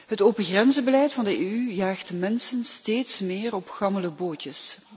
Het opengrenzenbeleid van de EU jaagt mensen steeds meer in gammele bootjes.